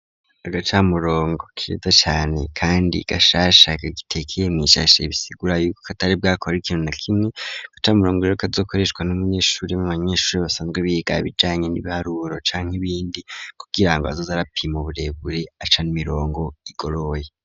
Agacamurongo keza cane kandi gashasha kagitekeye misashe bisigura yuko katari bwakora ikintu na kimwe, agacamurongo rero kazokoreshwa n'umunyeshure mu banyeshuri basanzwe biga bijanye n'ibiharuro canke ibindi kugirango azoze arapima uburebure aca mirongo igoroye.